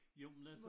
Jo men altså